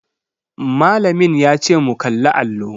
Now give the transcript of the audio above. Malamin yace mu kalli allo.